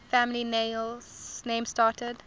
family names started